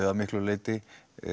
að miklu leyti